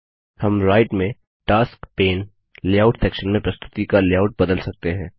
हम राइट में task pane layout section में प्रस्तुति का लेआउट बदल सकते हैं